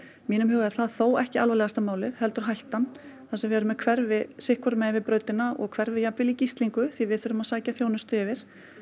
mínum huga er það þó ekki alvarlegasta málið heldur hættan þar sem við erum með hverfi sitt hvoru megin við brautina og hverfi jafnvel í gíslingu því við þurfum að sækja þjónustu yfir